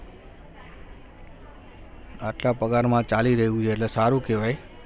આટલા પગારમાં ચાલી રહ્યું છે એટલે સારું કહેવાય